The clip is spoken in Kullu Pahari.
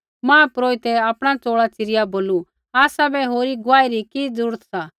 महापुरोहितै आपणा चोल़ा च़िरिया बोलू आसाबै होरी गुआही री कि ज़रूरत सा